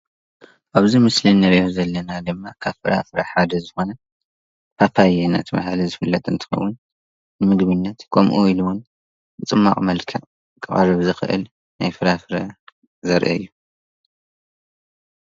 ኣብዚ ምስሊ እንሪኦ ዘለና ድማ ካብ ፍራፍረ ሓደ ዝኾነ ፓፓየ እናተብሃለ ዝፍለጥ እንትኸዉን ንምግብነት ከምኡ ወይ እዉን ብፅሟቕ መልክዕ ክቀርብ ዝኽእል ናይ ፍራፍረ ዘርኢ እዩ።